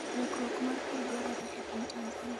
lukruok mar pur dwarore e piny Tanzania